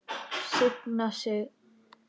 Signa sig?